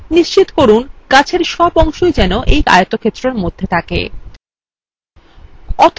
নিশ্চিত করুন গাছের সব অংশই যেন এই আয়তক্ষেত্রের মধ্যে থাকে